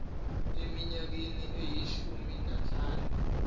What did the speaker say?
eminyakeni eyishumi nanhlanu